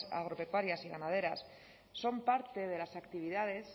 agropecuarias y ganaderas son parte de las actividades